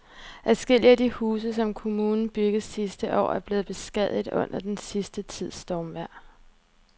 Adskillige af de huse, som kommunen byggede sidste år, er blevet beskadiget under den sidste tids stormvejr.